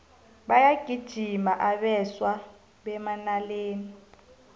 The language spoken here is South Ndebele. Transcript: bayagijima abeswa bemanaleni